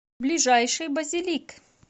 ближайший базилик